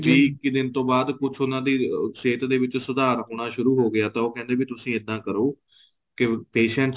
ਵੀਹ ਇੱਕੀ ਦਿਨ ਤੋਂ ਬਾਅਦ ਕੁੱਝ ਉਹਨਾ ਦੀ ਸਿਹਤ ਦੇ ਵਿੱਚ ਸੁਧਾਰ ਹੋਣਾ ਸ਼ੁਰੂ ਹੋ ਗਿਆ ਤਾਂ ਉਹ ਕਹਿੰਦੇ ਵੀ ਤੁਸੀਂ ਇੱਦਾਂ ਕਰੋ ਕੇ patients